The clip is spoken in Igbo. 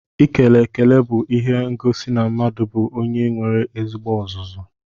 Ikele ekele bú ihe n'egosi na mmadụ bú onye nwere ezigbo ọzụzụ.